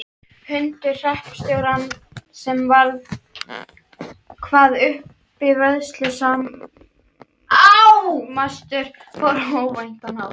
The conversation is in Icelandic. Hundur hreppstjórans sem var hvað uppivöðslusamastur fór á óvæntan hátt.